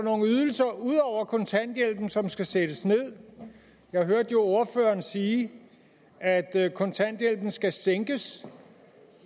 ydelser ud over kontanthjælpen som skal sættes ned jeg hørte jo ordføreren sige at at kontanthjælpen skal sænkes